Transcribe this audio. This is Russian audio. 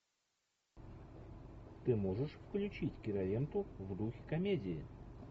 ты можешь включить киноленту в духе комедии